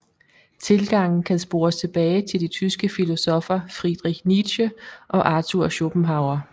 Tilgangen kan spores tilbage til de tyske filosoffer Friedrich Nietzsche og Arthur Schopenhauer